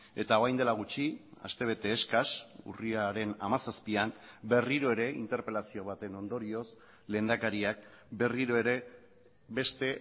eta orain dela gutxi aste bete eskas urriaren hamazazpian berriro ere interpelazio baten ondorioz lehendakariak berriro ere beste